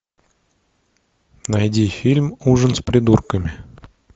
найди фильм ужин с придурками